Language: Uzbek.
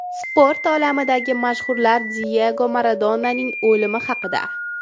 Sport olamidagi mashhurlar Diyego Maradonaning o‘limi haqida.